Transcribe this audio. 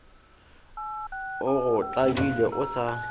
o go tlabile o sa